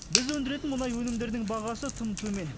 біз өндіретін мұнай өнімдерінің бағасы тым төмен